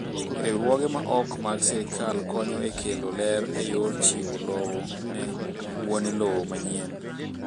Riwruoge ma ok mag sirkal konyo e kelo ler e yor chiwo lowo ne wuome lowo manyien.